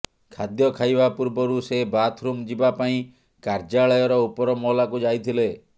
ଖାଦ୍ୟ ଖାଇବା ପୂର୍ବରୁ ସେ ବାଥରୁମ ଯିବା ପାଇଁ କାର୍ଯ୍ୟାଳୟର ଉପରମହଲାକୁ ଯାଇଥିଲେ